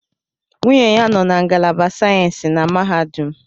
Nwunye ya nọ na ngalaba sayensi na mahadum